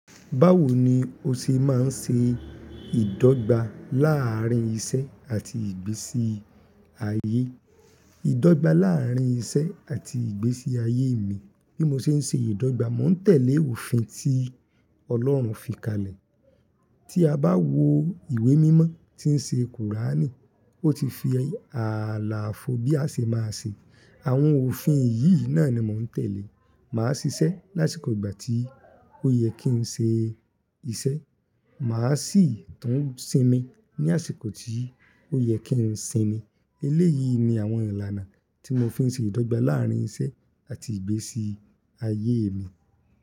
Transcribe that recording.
Báwo ni o ṣe máa ń ṣe ìdọ́gba láàrín iṣẹ́ àti ìgbésí ayé? Ìdọ́gba láàrín iṣẹ́ àti ìgbésí ayé mi, bí mo ṣe ń ṣe ìdọ́gba, mo ń tẹ̀lé òfin tí Ọlọ́run fi kalẹ̀. Tí a bá wo ìwé mímọ́ tí ń ṣe kùránì, ó ti fi ààlàfò bí a ṣe máa ṣe. Àwọn òfin yìí náà ni mò ń tẹ̀lé. Màá ṣiṣẹ́ lásìkò ìgbà tí ó yẹ kí n ṣe iṣẹ́, màá sì tún sinmi ní àsìkò tí ó yẹ kí n sinmi. Eléyìí ni àwọn ìlànà tí mo fi ń ṣe ìdọ́gba láàrín iṣẹ́ àti ìgbésí ayé mi.